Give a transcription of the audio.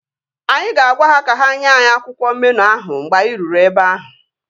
Anyị ga-agwa ha ka ha nye anyị akwụkwọ meenụ ahụ mgbe anyị ruru ebe ahụ